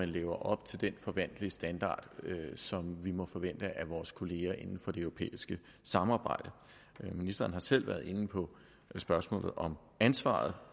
lever op til den standard som vi må forvente af vores kolleger inden for det europæiske samarbejde ministeren har selv været inde på spørgsmålet om ansvaret